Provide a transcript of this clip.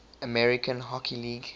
american hockey league